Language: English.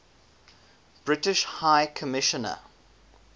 british high commissioner